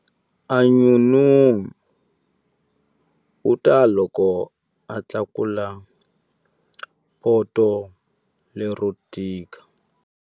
A n'unun'uta loko a tlakula poto lero tika.